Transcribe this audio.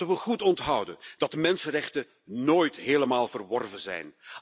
Laten we goed onthouden dat mensenrechten nooit helemaal verworven zijn.